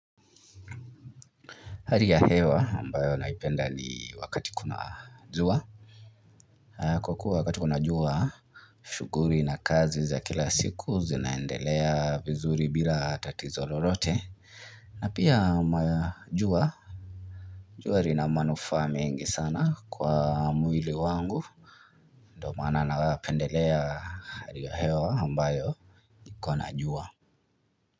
Hali ya hewa ambayo naipenda ni wakati kuna jua kwa kuwa wakati kuna jua shughuli na kazi za kila siku zinaendelea vizuri bila tatizo lolote na pia majua jua lina manufaa mengi sana kwa mwili wangu ndo maana nawapendelea hali ya hewa ambayo kuna jua.